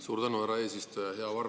Suur tänu, härra eesistuja!